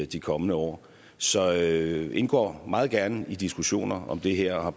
de kommende år så jeg indgår meget gerne i diskussioner om det her og har